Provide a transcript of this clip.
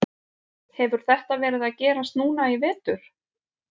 Hefur þetta verið að gerast núna í vetur?